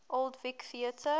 old vic theatre